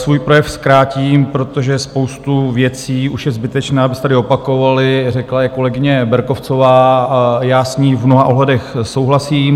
Svůj projev zkrátím, protože spoustu věcí už je zbytečné, aby se tady opakovaly, řekla je kolegyně Berkovcová a já s ní v mnoha ohledech souhlasím.